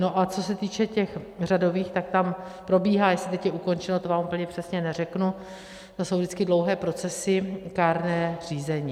No a co se týče těch řadových, tak tam probíhá, jestli teď je ukončeno, to vám úplně přesně neřeknu, to jsou vždycky dlouhé procesy, kárné řízení.